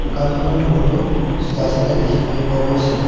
দোকানখনত বহুতো জোতা চেন্দেল দেখিবলৈ পোৱা গৈছে।